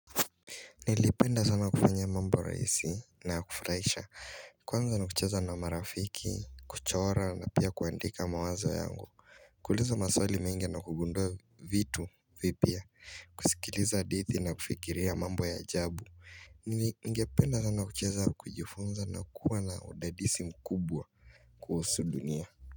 Nilipenda sana kufanya mambo rahisi na ya kufurahisha kwanza ni kucheza na marafiki, kuchora na pia kuandika mawazo yangu kuuliza maswali mengi na kugundua vitu vipya kusikiliza hadithi na kufikiria mambo ya jabu Ningependa sana kujifunza na kuwa na udadisi mkubwa kuhusu dunia.